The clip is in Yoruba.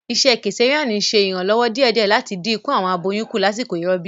Isẹ kesareani n ṣe iranlọwọ diẹdiẹ lati din iku awọn aboyun ku lasiko irọbi.